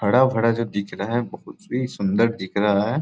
हरा-भरा सा दिख रहा हैं बहुत ही सुंदर दिख रहा हैं।